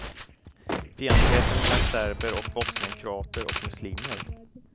Fientligheten mellan serber och bosnienkroater och muslimer.